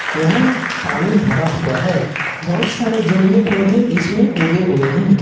यहां पानी भरा हुआ है बहुत सारे जलीय पौधे इसमें उगे हुए हैं।